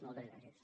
moltes gràcies